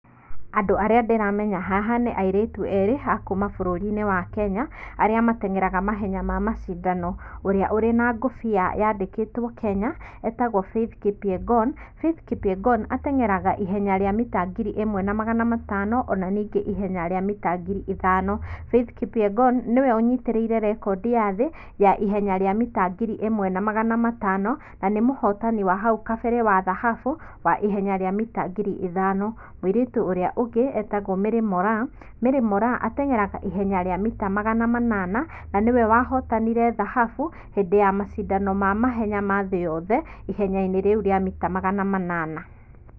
Andũ arĩa ndĩramenya haha nĩ airĩtu eerĩ a kuuma bũrũri-inĩ wa Kenya, arĩa mateng'eraga mahenya ma macindano. Ũrĩa ũrĩa na ngũbia yandĩkĩtwo Kenya etagwo Faith Kipyegon. Faith Kipyegon ateng'eraga ihenya rĩa mita ngiri ĩmwe na magana matano ona ningĩ ihenya rĩa mita ngiri ithano. Faith Kipyegon niwe ũnyitĩrĩire record ya thĩ ya ihenya rĩa mita ngiri ĩmwe na magana matano na mũhotani wa hau kabere wa thahabu wa ihenya rĩa mita ngiri ithano. Mũirĩtu ũrĩa ũngĩ etagwo Mary Moraa. Mary Moraa ateng'eraga ihenya rĩa mita magana manana na nĩwe wahotanire thahabu hĩndĩ ya macindano ma mahenya thĩ yothe ihenya-inĩ rĩu rĩa mita magana manana.